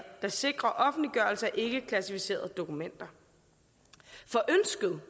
sikrer offentliggørelse af ikkeklassificerede dokumenter for ønsket